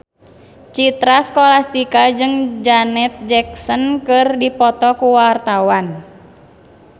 Citra Scholastika jeung Janet Jackson keur dipoto ku wartawan